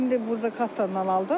Yox, indi burda kassadan aldım.